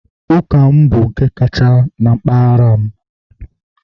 Ụka m bụ nke kacha na mpaghara m